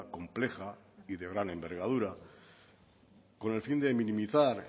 compleja y de gran envergadura con el fin de minimizar